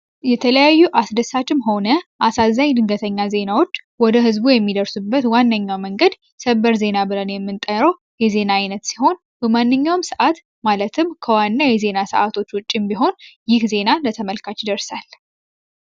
የተለያዩ አስደሳችም ሆነ አሳዛኝ ድንገተኛ ዜናዎች ወደ ህዝቡ የሚደርሱበት ዋነኛው መንገድ ሰበር ዜና የምንጠራው የዜና አይነት ሲሆን በማንኛውም ሰዓት ማለትም ከዋና የዜና ሰዓቶች ውጭም ቢሆን ይህ ዜና ለተመልካች ይደርሳል።